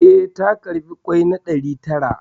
Eh, ta karɓi ƙwai na ɗari tara